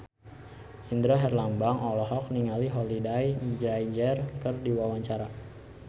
Indra Herlambang olohok ningali Holliday Grainger keur diwawancara